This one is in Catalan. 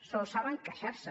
sols saben queixar se